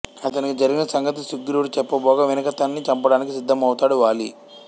అతనికి జరిగిన సంగతి సుగ్రీవుడు చెప్పబోగా వినక తన్ని చంపడానికి సిధ్ధమవుతాడు వాలి